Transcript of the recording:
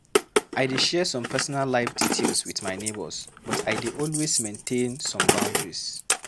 I dey share some personal life details with my neighbors, but I dey also maintain some boundaries.